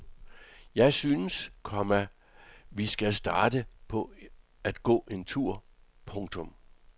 Jeg synes, komma vi skal starte med at gå en tur. punktum